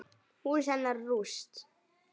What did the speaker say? Hús hennar rúst.